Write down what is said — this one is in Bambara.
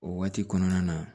O waati kɔnɔna na